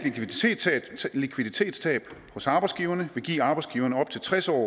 likviditetstab hos arbejdsgiverne vil give arbejdsgiverne op til tres år